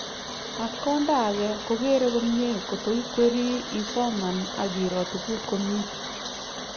ak konda age kogere komie kotu ikweri, isoman ak iro tuguk komi